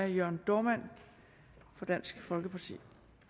jørn dohrmann fra dansk folkeparti